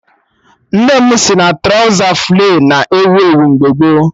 Nne m si na trọza flay na ewu ewu mgbe gboo